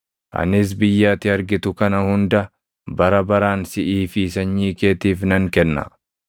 Anis biyya ati argitu kana hunda bara baraan siʼii fi sanyii keetiif nan kenna.